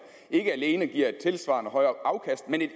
ikke alene giver et tilsvarende højere afkast men et